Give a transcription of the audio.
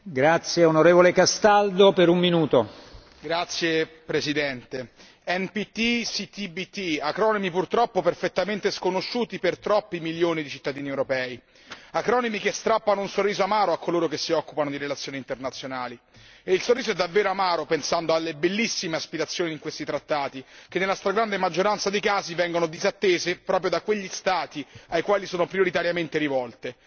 Signor Presidente, onorevoli colleghi, NTP e CTBT sono acronimi purtroppo perfettamente sconosciuti per troppi milioni di cittadini europei e acronimi che strappano un sorriso amaro a coloro che si occupano di relazioni internazionali. Il sorriso è davvero amaro pensando alle bellissime aspirazioni di questi trattati che, nella stragrande maggioranza dei casi, vengono disattese proprio da quelli Stati ai quali sono prioritariamente rivolte.